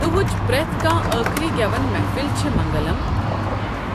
دُہٕچ پرٮ۪تھ کانٛہہ أخری گٮ۪وَن محفِل چھِ منگلم،